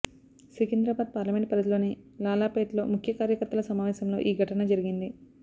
Secunderabad parliament పరిధిలోని లాలాపేట్ లో ముఖ్య కార్యకర్తల సమావేశంలో ఈ ఘటన జరిగింది